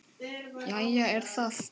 Jæja er það.